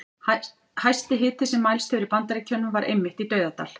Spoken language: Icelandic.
Hæsti hiti sem mælst hefur í Bandaríkjunum var einmitt í Dauðadal.